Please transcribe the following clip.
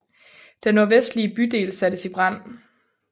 Den nordvestlige bydel sattes i brand